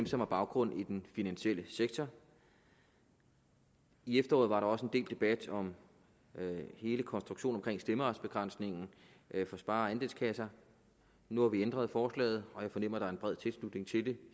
som har baggrund i den finansielle sektor i efteråret var der også en del debat om hele konstruktionen omkring stemmeretsbegrænsningen for spare og andelskasser nu har vi ændret forslaget og jeg fornemmer er en bred tilslutning til det